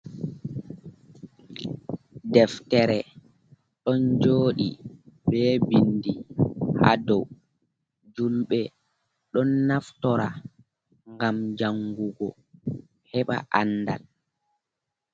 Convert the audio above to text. Deftere ɗon joodi be bindi ha dow himɓe don naftira ngam jangugo heɓa aandal.